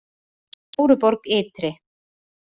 Stóruborg ytri